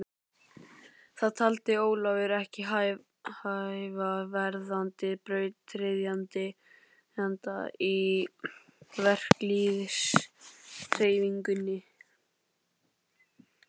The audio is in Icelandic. Það taldi Ólafur ekki hæfa verðandi brautryðjanda í verkalýðshreyfingunni.